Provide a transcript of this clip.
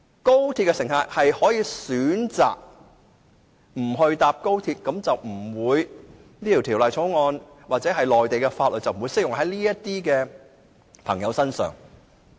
如果乘客不選擇乘搭高鐵，那麼《條例草案》或內地法律便不適用於這些乘客。